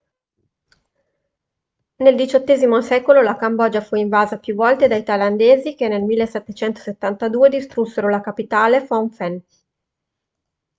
nel xviii secolo la cambogia fu invasa più volte dai thailandesi che nel 1772 distrussero la capitale phnom phen